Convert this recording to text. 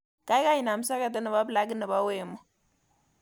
Gaigai inam soketit nebo plakit nebo wemo